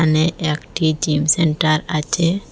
এখানে একটি gym centre আচে ।